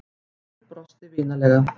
Hlynur brosti vinalega.